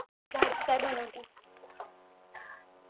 भाजी काय बनवलेस